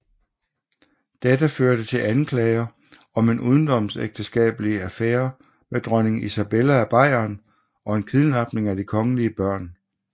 Dette førte til anklager om en udenomsægteskabelig affære med dronning Isabella af Bayern og en kidnapning af de kongelige børn